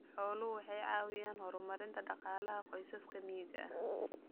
Xooluhu waxay caawiyaan horumarinta dhaqaalaha qoysaska miyiga ah.